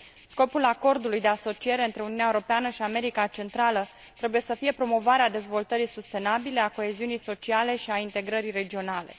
Scopul Acordului de asociere între Uniunea Europeană și America Centrală trebuie să fie promovarea dezvoltării sustenabile, a coeziunii sociale și a integrării regionale.